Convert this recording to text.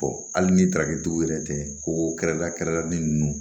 hali ni tarakɛtigiw yɛrɛ tɛ kogo kɛrɛda kɛrɛda nin